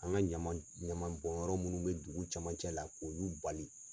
An ka ɲaman ɲaman bɔn yɔrɔ munnu bɛ dugu cɛmancɛ la k'olu bali.